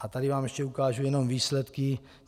A tady vám ještě ukážu jenom výsledky.